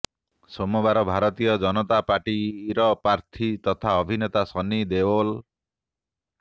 ସୋମବାର ଭାରତୀୟ ଜନତା ପାର୍ଟିର ପ୍ରାର୍ଥୀ ତଥା ଅଭିନେତା ସନ୍ନି ଦେଓଲ